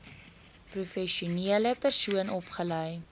professionele persoon opgelei